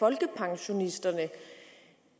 folkepensionisterne